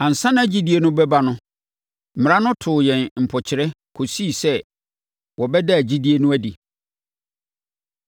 Ansa na gyidie no reba no, Mmara no too yɛn mpɔkyerɛ kɔsii sɛ wɔbɛdaa gyidie no adi.